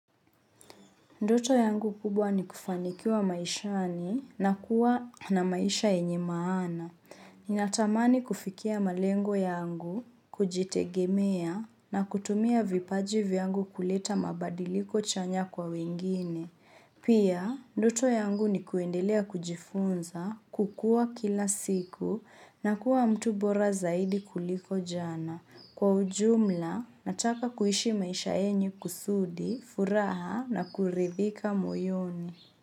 Ndoto yangu kubwa ni kufanikiwa maishani na kuwa na maisha yenye maana. Ninatamani kufikia malengo yangu, kujitegemea na kutumia vipaji vyangu kuleta mabadiliko chanya kwa wengine. Pia, ndoto yangu ni kuendelea kujifunza, kukua kila siku na kuwa mtu bora zaidi kuliko jana. Kwa ujumla, nataka kuishi maisha yenye kusudi, furaha na kuridhika moyoni.